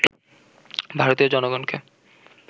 ভারতীয় জনগণকে